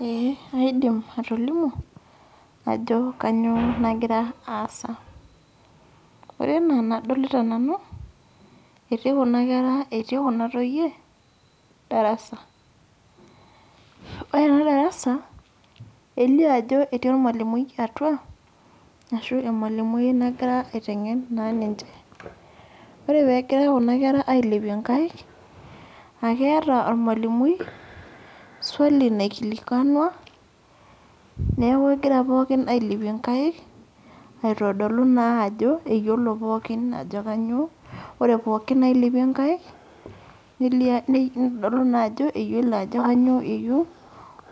Ee kaidim atolimu, ajo kanyioo nagira aasa. Ore enaa enadolita nanu, etii kuna toyie, darasa. Ore ena darasa, elio ajo etii ormalimui atua, ashu emalimui nagira aiteng'en naa ninche. Ore pegira kuna kera ailepie nkaik, akeeta ormalimui, swali naikilikwanua, neeku egira pookin ailepie nkaik, aitodolu naa ajo eyiolo pookin ajo kanyioo, ore pookin nailepie nkaik, nelio kitodolu naa ajo eyiolo ajo kanyioo eyieu,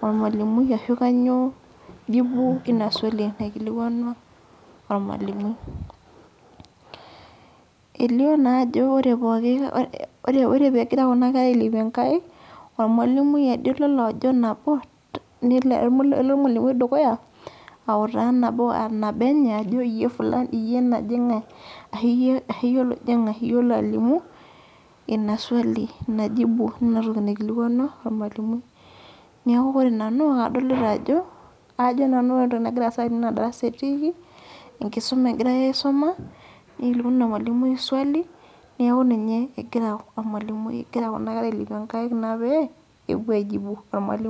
ormalimui ashu kanyioo jibu ina swali naikilikwanua ormalimui. Elio naajo ore pooki ore pegira kuna kera ailepie nkaik, ormalimui ade lolo ajo nabo, elo ormalimui dukuya, autaa nabo anabo enye ajo fulani iyie najing'ae, ashu iyie lojing'ae, iyie olo alimu, ina swali ina jibu ina toki naikilikwanua ormalimui. Neeku ore nanu adolita ajo, ajo nanu ore entoki nagira aasa tene naa darasa etiiki, enkisuma egirai aisuma, nikilikwanu emalimui swali, neeku ninye egira ormalimui egira kuna kera ailepie nkaik naa pee, epuo ai jibu ormalimui.